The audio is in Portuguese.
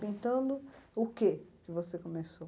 Pintando o quê que você começou?